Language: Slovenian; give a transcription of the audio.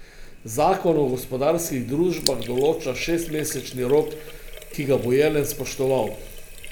Zakon o gospodarskih družbah določa šestmesečni rok, ki ga bo Jelen spoštoval.